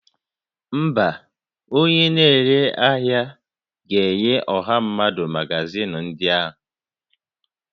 Mba, onye na-ere ahịa ga-enye ọha mmadụ magazịn ndị a